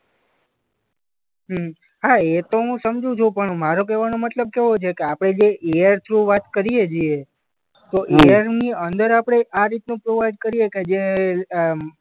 હમ્મ હા એતો હું સમજુ છું પણ મારો કહેવાનો મતલબ કેવો છે કે આપણે જે એ આર થ્રુ વાત કરીએ છે તો એ આરની અંદર આપણે આ રીતનું પ્રોવાઈડ કરીએ કે જે અ